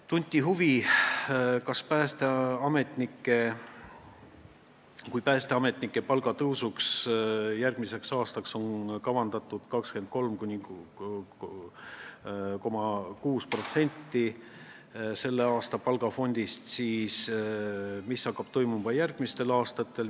Tunti huvi, et kui järgmiseks aastaks on päästeametnike palga tõusuks kavandatud 23,6% selle aasta palgafondist, siis mis hakkab toimuma järgmistel aastatel.